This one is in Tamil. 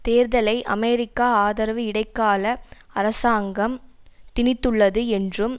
தேர்தலை அமெரிக்கா ஆதரவு இடைக்கால அரசாங்கம் திணித்துள்ளது என்றும்